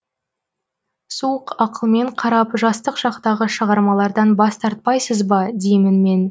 суық ақылмен қарап жастық шақтағы шығармалардан бас тартпайсыз ба деймін мен